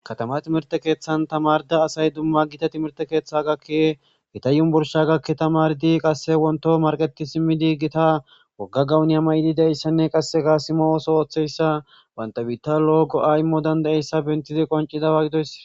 Kattama timirtte keeththan tamaridda assay dumma Giza timirtte keeththa etta unburssa gaki tamaridi qasse wontto maraqetti siimiidi gitta wogga gawoniya may'idi dizayssanne qasseka siimo oththon oththiyayssa bantta biiztan lo'o go'a imoo dand'izayssa bentidi qoncidaba gidoysi